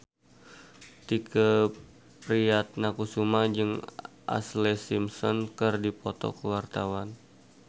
Tike Priatnakusuma jeung Ashlee Simpson keur dipoto ku wartawan